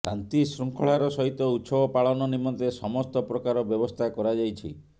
ଶାନ୍ତି ଶୃଙ୍ଖଳାର ସହିତ ଉତ୍ସବ ପାଳନ ନିମନ୍ତେ ସମସ୍ତ ପ୍ରକାର ବ୍ୟବସ୍ଥା କରାଯାଇଛି